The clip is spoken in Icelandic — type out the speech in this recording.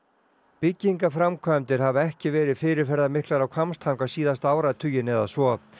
byggingaframkvæmdir hafa ekki verið fyrirferðamiklar á Hvammstanga síðasta áratuginn eða svo